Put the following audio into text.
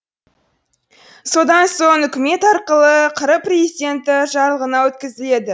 содан соң үкімет арқылы қр президенті жарлығына өткізіледі